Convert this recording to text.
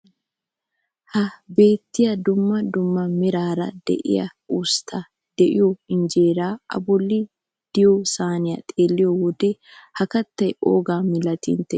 Ha beettiyaa dumma dumma meraara de'iyaa usttay de'iyoo injeeray a bolli de'iyoo sayniyaa xeelliyoo wode ha keettay oogaa milatii inteyoo?